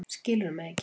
Skilurðu mig ekki?